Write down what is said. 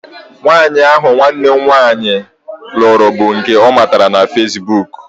Nwaanyị ahụ nwanne nwunye m lụrụ bụ nke ọ matara na feesbuk